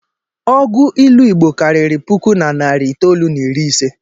Ọgụ ilu Igbo karịrị puku na narị itoolu na iri ise